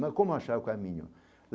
Mas como achar o caminho?